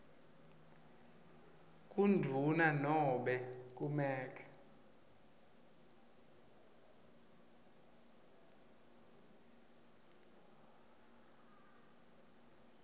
kundvuna nobe kumec